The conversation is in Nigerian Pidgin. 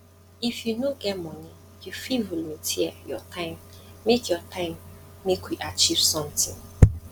if you no get money you fit volunteer your time make your time make we achieve sometin